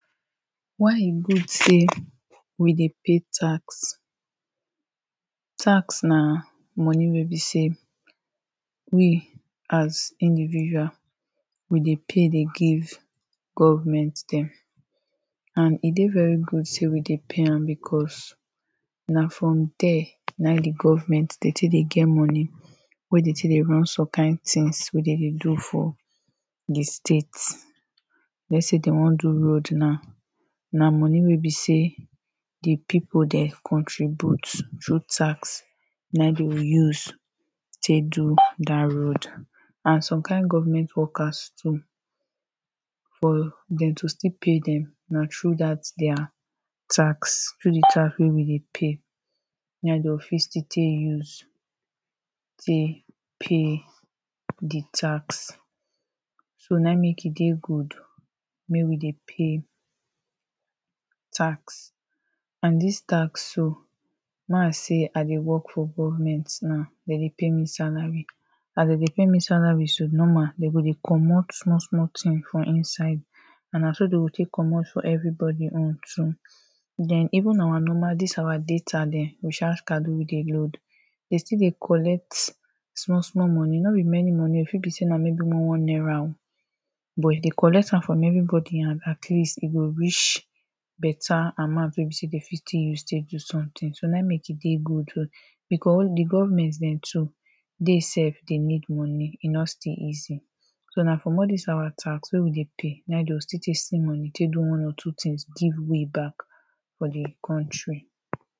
why e good say we de pay tax tax na money wey be say we as individual we dey pay de give government them and e de very good say we de pay am because na from there na im de government de take de get money wey they take the run somekind things wey they de do for the state let say they wan do road now na money wey be say the people dere contribute through tax na ehm they will use take do that road and some kind government workers too for them to still pay them na through that their tax, through the track wey we de pay na ehm they will fit still take use take pay the tax so na ehm make e de good make we de pay tax and dis tax so ma say i dey work for government now they de pay me salary as they de pay me salary so, normal they go de commot small small thing for inside and na so they go take commot for everybody own too then even our normal this our data them, recharge card weh we de load de still de collect small small money no be many money e fit be say like maybe one one naira o but they collect am from everybody hand atleast e go reach better amount wey be say de fit take use take use do something na ehm make e de good because the government them too dey self they need money e no still easy so na from all dis our tax wey we de pay na ehm them go still see money take do one or two things give way back for the country